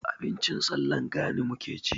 Abincin sallar gani muke ci.